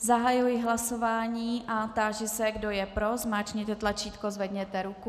Zahajuji hlasování a táži se, kdo je pro, zmáčkněte tlačítko, zvedněte ruku.